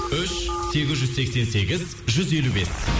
үш сегіз жүз сексен сегіз жүз елу бес